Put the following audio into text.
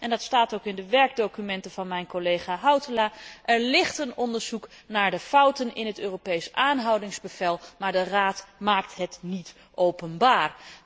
Er bestaat en dat staat ook in de werkdocumenten van mijn collega Hautala een onderzoek naar de fouten in het Europees aanhoudingsbevel, maar de Raad maakt dit niet openbaar.